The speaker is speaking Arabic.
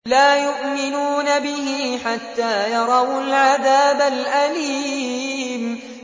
لَا يُؤْمِنُونَ بِهِ حَتَّىٰ يَرَوُا الْعَذَابَ الْأَلِيمَ